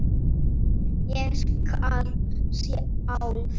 Ég skal sjálf.